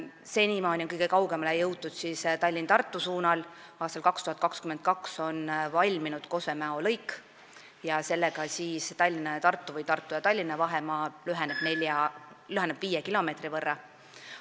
Senimaani on kõige kaugemale jõutud Tallinna–Tartu suunal, aastal 2022 valmib Kose–Mäo lõik ja sellega väheneb Tallinna–Tartu või Tartu–Tallinna vahemaa viie kilomeetri võrra.